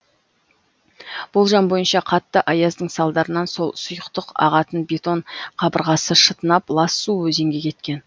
болжам бойынша қатты аяздың салдарынан сол сұйықтық ағатын бетон қабырғасы шытынап лас су өзенге кеткен